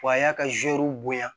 Wa a y'a ka zuwɛrw bonya